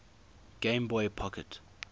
game boy pocket